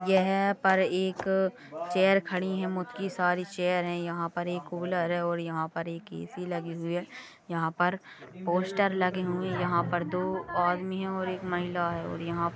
यहा पर एक चैर खडी हे मुट की सारी चैर है यहाँ पर एक कूलर है यहाँ पर ए सी लगी हुई है यहाँ पर पोस्टर लगे हुए है यहाँ पर दो आदमी है और एक महिला हे और यहाँ--